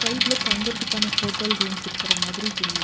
ரைட்ல தங்கறத்துகான hotel rooms இருக்கற மாதிரி தெரி.